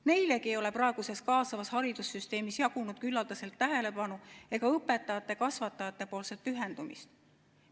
Neilegi ei ole praeguses kaasavas haridussüsteemis jagunud küllaldaselt tähelepanu ega õpetajate-kasvatajate pühendumist.